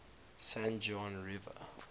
san juan river